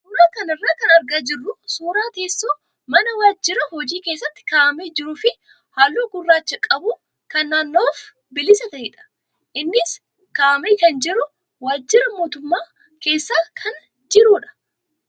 Suuraa kana irraa kan argaa jirru suuraa teessoo mana waajjira hojii keessatti kaa'amee jiruu fi halluu gurraacha qabu kan naanna'uuf bilisa ta'edha. Innis kaa'amee kan jiru waajjira mootummaa keessa kan jirudha.